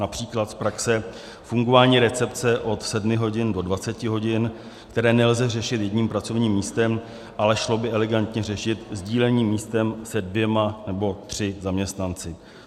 Například z praxe, fungování recepce od 7 hodin do 20 hodin, které nelze řešit jedním pracovním místem, ale šlo by elegantně řešit sdíleným místem se dvěma nebo třemi zaměstnanci.